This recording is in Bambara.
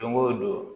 Don o don